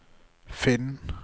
finn